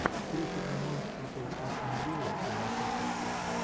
встреча команд апл астон вилла и манчестер сити